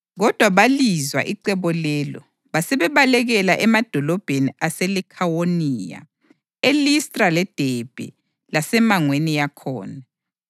Kodwa balizwa icebo lelo basebebalekela emadolobheni aseLikhawoniya, eListra leDebhe lasemangweni yakhona,